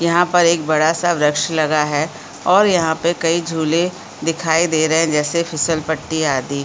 यहाँ पर एक बड़ा सा वृक्ष लगा है ओर यहाँ पे कई झूले दिखाई दे रहै है जैसे फिसल पट्टी आदि--